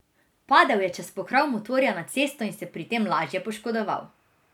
Padel je čez pokrov motorja na cesto in se pri tem lažje poškodoval.